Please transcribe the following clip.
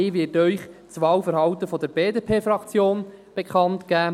Ich werde Ihnen das Wahlverhalten der BDP-Fraktion bekanntgeben.